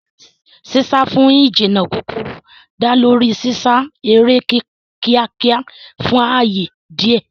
Sísá fún ìjìnnà kúkúrú dá lórí sísá eré kíákíá fún ààyè díẹ̀.